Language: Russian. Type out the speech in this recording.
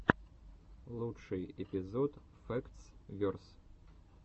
лучший эпизод фэктс верс